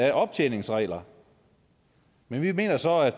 af optjeningsregler men vi mener så at